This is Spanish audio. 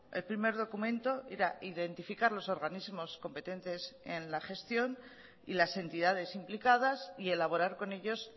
el primer documento era identificar los organismos competentes en la gestión y las entidades implicadas y elaborar con ellos